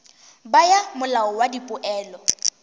bo ya molao wa dipoelo